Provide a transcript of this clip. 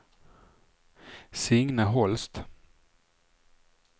Signe Holst